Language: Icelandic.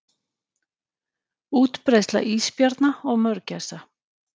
Útbreiðsla ísbjarna og mörgæsa.